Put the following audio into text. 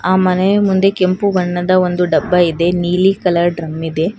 ಆ ಮನೆಯು ಮುಂದೆ ಕೆಂಪು ಬಣ್ಣದ ಡಬ್ಬ ಇದೆ ನೀಲಿ ಕಲರ್ ಡ್ರಮ್ ಇದೆ.